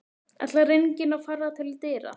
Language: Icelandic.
Ætlar enginn að fara til dyra?